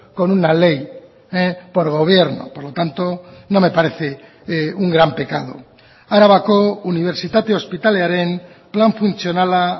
con una ley por gobierno por lo tanto no me parece un gran pecado arabako unibertsitate ospitalearen plan funtzionala